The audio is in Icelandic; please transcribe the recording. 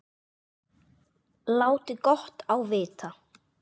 Láti gott á vita.